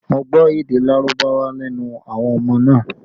Mo gbọ́ èdè Lárúbáwá lẹ́nu àwọn ọmọ náà